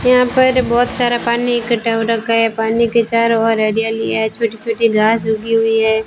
यहां पर बहुत सारा पानी इकट्ठा हो रखा है पानी के चारों ओर हरियाली है छोटी छोटी घास ऊगी हुई है।